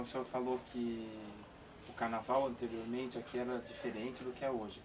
O senhor falou que o carnaval anteriormente aqui era diferente do que é hoje.